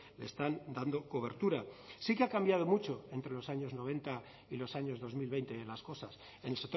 le están dando cobertura sí que ha cambiado mucho entre los años noventa y los años dos mil veinte las cosas en